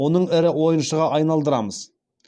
оның ірі ойыншыға айналдырамыз